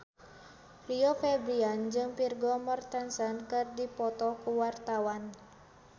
Rio Febrian jeung Vigo Mortensen keur dipoto ku wartawan